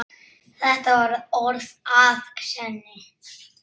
Þetta voru orð að sönnu.